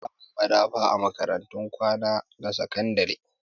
Ana samun madafa a makarantun kwana na ƴan sakandire